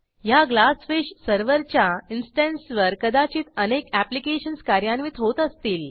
ह्या ग्लासफिश serverच्या इन्स्टन्सवर कदाचित अनेक ऍप्लिकेशन्स कार्यान्वित होत असतील